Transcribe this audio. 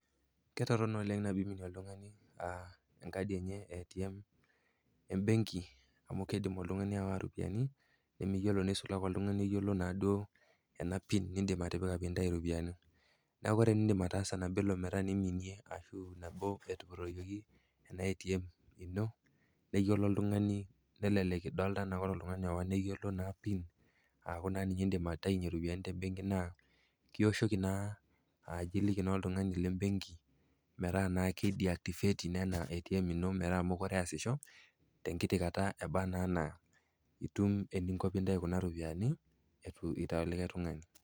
Ketorono oleng nabo eiminie oltung'ani enkadi enye e ATM embenki amu keidim oltung'ani aawa iropiani imiyiolo neisulai naa duo oltung'ani oyiolo ena pin nindim atipika pee intai iropiani. Neaku ore eniindim ataasa nabo iminie ashu nabo etupuroyoki ena ATM neyiolo oltung'ani, nelelek idolita anaa ore oltung'ani owaa neyiolo naa pin aaku naa ninye indim aitainye iropiani te benki naa ioshoki naa aliki oltung'ani le benki pee idiactivate ina ATM ino metaa mekure easisho, tenkiti kata ebaa naa anaa itum eninko pee intayu kuna ropiani eitu eitayu likai tung'ani.